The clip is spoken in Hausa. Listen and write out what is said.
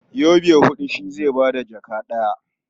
Yobe huɗu shi zai ba da jaka ɗaya.